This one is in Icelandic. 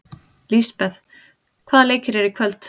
Lisbeth, hvaða leikir eru í kvöld?